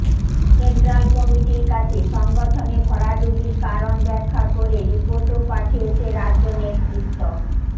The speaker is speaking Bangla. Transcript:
সেন্ট্রাল কমিটির কাছে সংগঠনে ভরাডুবির কারণ ব্যাখ্যা করে রিপোর্টও পাঠিয়েছে রাজ্য নেতৃত্ব